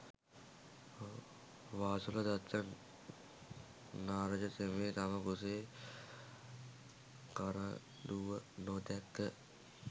වාසුල දත්ත නාරජ තෙමේ තම කුසේ කරඬුව නොදැක